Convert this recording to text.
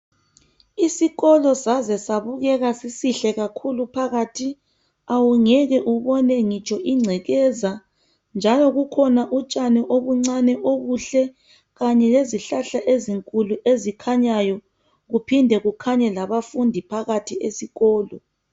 Isikolo saze sabukeka sisihle kakhulu phakathi awungeke ubone ngitsho ingcekeza njalo bukhona utshani obuncane obuhle, kanye lezihlahla ezinkulu ezikhanyayo kuphinde kukhanye labafundi phakathi esikolo.